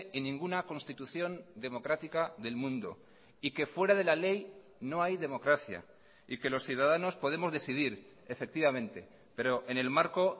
en ninguna constitución democrática del mundo y que fuera de la ley no hay democracia y que los ciudadanos podemos decidir efectivamente pero en el marco